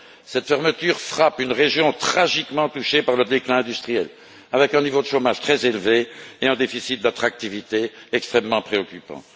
Cette fermeture frappe une région tragiquement touchée par le déclin industriel, qui affiche un niveau de chômage très élevé et un déficit d'attractivité extrêmement préoccupant.